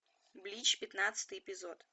блич пятнадцатый эпизод